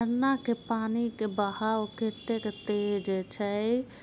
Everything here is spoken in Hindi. इन्नाके के पानी का बहाव कितक तेज छै।